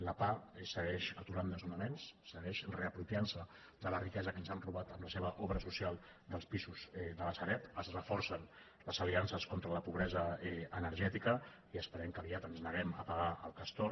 la pah segueix aturant desnonaments segueix reapropiant se de la riquesa que ens han robat amb la seva obra social dels pisos de la sareb es reforcen les aliances contra la pobresa energètica i esperem que aviat ens neguem a pagar el castor